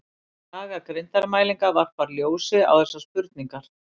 Saga greindarmælinga varpar ljósi á þessar spurningar.